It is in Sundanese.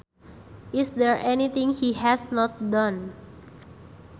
Is there anything he has not done